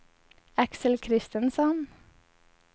Axel Kristensson